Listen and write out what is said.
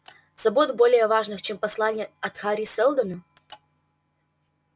забот более важных чем послание от хари сэлдона